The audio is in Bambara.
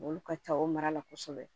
Olu ka ca o mara la kosɛbɛ